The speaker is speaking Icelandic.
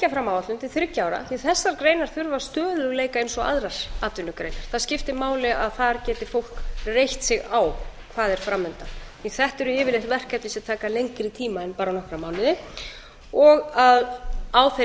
fram áætlun til þriggja ára því að þessar greinar þurfa stöðugleika eins og aðrar atvinnugreinar það skiptir máli að þar geti fólk reitt sig á hvað er fram undan því að þetta eru yfirleitt verkefni sem taka lengri tíma en bara nokkra mánuði og að á þeirri